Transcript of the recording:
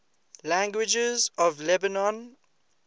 languages of lebanon